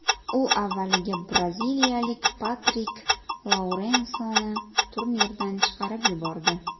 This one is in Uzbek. U avvaliga braziliyalik Patrik Lourensoni turnirdan chiqarib yubordi.